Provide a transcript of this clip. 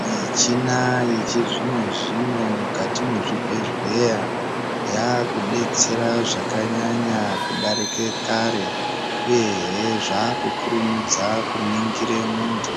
Michina yechizvino zvino mukati mechibhedhlera yakudetsera zvakanyanya kudarika kare uye he zvakukurumidza kuningira muntu